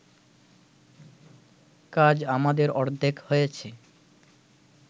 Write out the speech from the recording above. কাজ আমাদের অর্ধেক হয়েছে